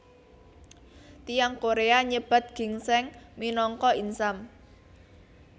Tiyang Korea nyebat ginsèng minangka insam